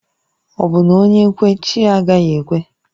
Obu na onye kwe, chi ya agaghi ekwe?